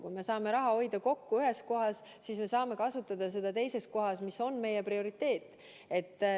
Kui me saame ühes kohas raha kokku hoida, siis saame seda kasutada mõnes teises kohas, mis on meie prioriteet.